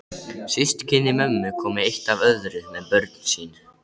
Systkini mömmu komu eitt af öðru með börn sín.